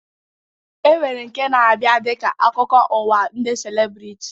E nwere nke na-abịa dịka akụkọ ụwa ndị celebriti